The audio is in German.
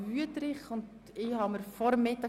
Wüthrich wünscht das Wort.